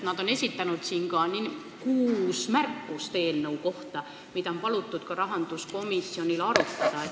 Nad on esitanud eelnõu kohta ka kuus märkust, mida on palutud rahanduskomisjonil arutada.